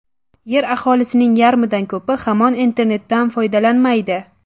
Yer aholisining yarmidan ko‘pi hamon internetdan foydalanmaydi .